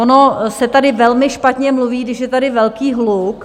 Ono se tady velmi špatně mluví, když je tady velký hluk.